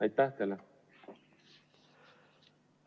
Aitäh teile!